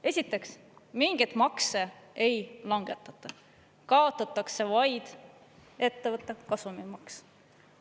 Esiteks, mingeid makse ei langetata, kaotatakse vaid ettevõtte kasumimaks.